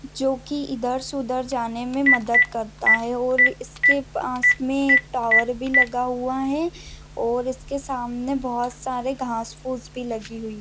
जो की इधर से उधर जाने मे मदत करता है और ये इसके पास मे एक टॉवर भी लगा हुआ है और इसके सामने बहुत सारे घाँस फूस भी लगी हुई --